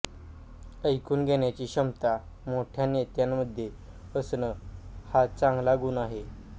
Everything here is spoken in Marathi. ऐकून घेण्याची क्षमता मोठ्या नेत्यामध्ये असणं हा चांगला गुण आहे